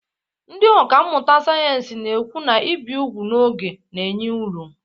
Ndị ọkà mmụta sayensị na-ekwu na ibi úgwù n'oge na-enye uru